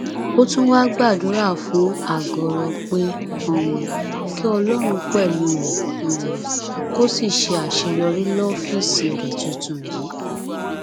ó tún wáá gbàdúrà fún àgọrọ pé um kí ọlọrun pẹlú rẹ um kó sì ṣe àṣeyọrí lọfíìsì rẹ tuntun yìí